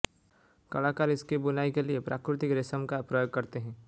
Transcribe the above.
कलाकार इसकी बुनाई के लिए प्राकृतिक रेशम का प्रयोग करते हैं